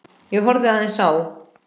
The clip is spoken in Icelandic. Ég horfði aðeins á